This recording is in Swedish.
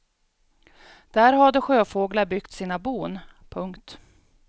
Där hade sjöfåglar byggt sina bon. punkt